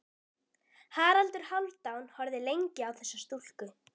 Haraldur Hálfdán horfði lengi á þessa stúlku.